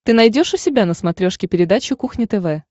ты найдешь у себя на смотрешке передачу кухня тв